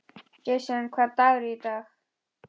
Jason, hvaða dagur er í dag?